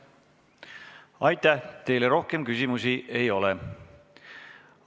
Aitäh, teile rohkem küsimusi ei ole.